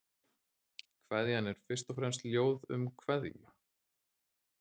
Kveðjan er fyrst og fremst ljóð um kveðju.